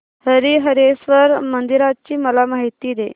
हरीहरेश्वर मंदिराची मला माहिती दे